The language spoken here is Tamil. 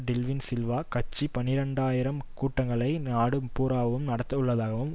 டில்வின் சில்வா கட்சி பனிரண்டு ஆயிரம் கூட்டங்களை நாடு பூராவும் நடத்தவுள்ளதாகவும்